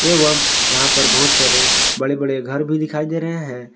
एवं यहां पर बहुत सारे बड़े बड़े घर भी दिखाई दे रहे हैं।